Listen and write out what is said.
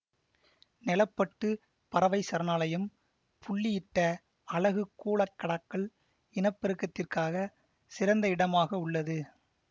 நெலப்பட்டு பறவை சரணாலயம் புள்ளியிட்ட அலகு கூழக்கடாக்கள் இனப்பெருக்கத்திற்கான சிறந்த இடமாக உள்ளது